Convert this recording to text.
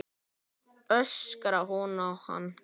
öskrar hún á hann.